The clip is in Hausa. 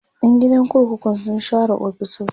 Yan gidan kurkukun sun share ofisoshin